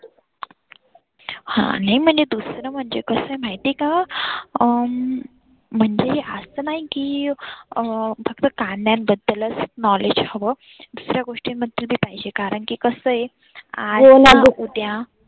हा नाही म्हणजे मला दुसरं म्हणजे माहिती आहे का? अं म्हणजे असं नाही की अं फक्त कांद्यांंन बद्दलच knowledge हवं दुसऱ्या गोष्टींबद्दल बी पाहिजे कारण की कसं आहे आज ना उद्या.